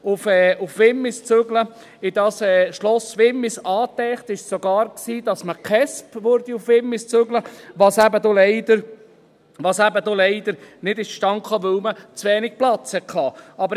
Angedacht war sogar, dass man die Kindes- und Erwachsenenschutzpolizei nach Wimmis zügelt, was aber leider nicht zustande kam, weil man zu wenig Platz hatte.